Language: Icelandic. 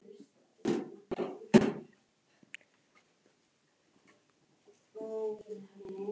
Þriðja rúmið var á móti innganginum.